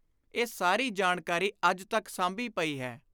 ਇਹ ਸਾਰੀ ਜਾਣਕਾਰੀ ਅੱਜ ਤਕ ਸਾਂਭੀ ਪਈ ਹੈ।